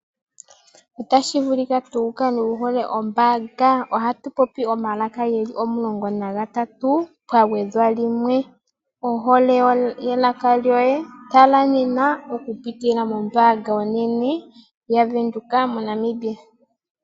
Otashi vulu tuu wukale wuhole ombaanga. Ohatu popi omalaka geli omulongo nagatatu, pagwedhwa limwe. Ohole yelaka lyoye tala nena okupitila mombaanga onene yavenduka, MoNamibia.